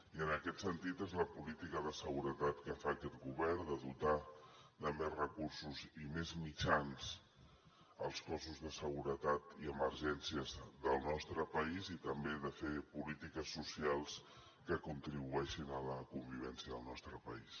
i en aquest sentit és la política de seguretat que fa aquest govern de dotar de més recursos i més mitjans els cossos de seguretat i emergències del nostre país i també de fer polítiques socials que contribueixin a la convivència del nostre país